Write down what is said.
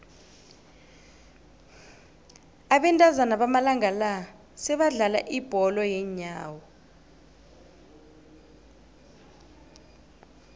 abentazana bamalanga la sebadlala ibholo yeenyawo